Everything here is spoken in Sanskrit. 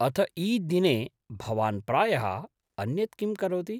अथ ईद् दिने भवान् प्रायः अन्यत् किं करोति?